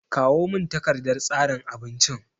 Kawo min takardan tsarin abincin!